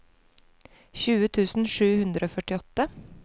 tjue tusen sju hundre og førtiåtte